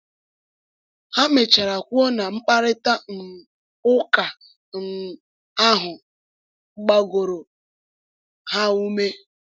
Ha mechara kwuo na mkparịta um ụka um ahụ gbagoro ha ume.